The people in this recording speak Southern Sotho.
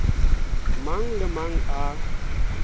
mang le a mang a